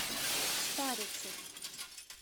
старицей